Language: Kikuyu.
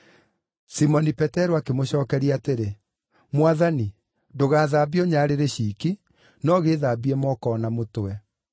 Simoni Petero akĩmũcookeria atĩrĩ, “Mwathani, ndũgaathambie o nyarĩrĩ ciiki, no gĩĩthambie moko o na mũtwe!”